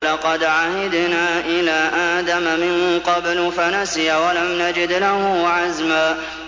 وَلَقَدْ عَهِدْنَا إِلَىٰ آدَمَ مِن قَبْلُ فَنَسِيَ وَلَمْ نَجِدْ لَهُ عَزْمًا